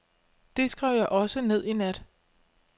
Det skrev jeg også ned i nat.